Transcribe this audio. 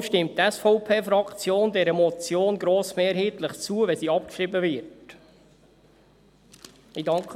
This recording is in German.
Deshalb stimmt die SVP-Fraktion dieser Motion grossmehrheitlich zu, sofern sie abgeschrieben wird.